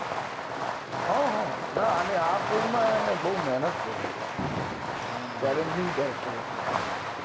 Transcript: હા હાહા ના અને આ ફિલ્મ માં એને બોવ મહેનત કરી હતી ચેલેન્જીંગ કેરેક્ટર હતો એનાં માટે